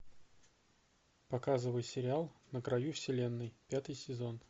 показывай сериал на краю вселенной пятый сезон